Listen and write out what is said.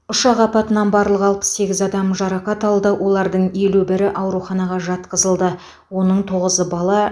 ұшақ апатынан барлығы алпыс сегіз адам жарақат алды олардың елу бірі ауруханаға жатқызылды оның тоғызы бала